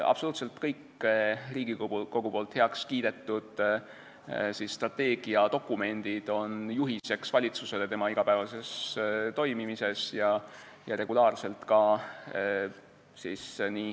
Absoluutselt kõik Riigikogus heaks kiidetud strateegiadokumendid on valitsusele tema igapäevases toimimises juhiseks.